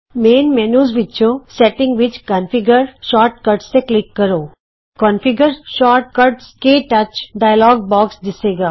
ਮੁੱਖ ਮੈਨਯੂ ਵਿੱਚੋਂ ਸੈਟਿੰਗ ਵਿਚ ਕੌਨਫਿਗਰ ਸ਼ੋਰਟ ਕਟਜ਼ ਤੇ ਕਲਿਕ ਕਰੋ ਕੋਨਫਿਗਰ ਸ਼ੌਰਟ ਕੱਟਜ਼ ਕੇ ਟੱਚ ਡਾਇਲੌਗ ਬੌਕਸ ਦਿੱਸੇਗਾ